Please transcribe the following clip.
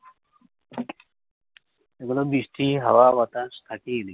এগুলো বৃষ্টি, হাওয়া বাতাস থাকেই এইদিকে